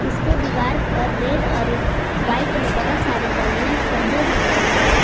इसके दीवार पर रेड और वाइट में बहुत सारे बलूंस सजे हुए हैं।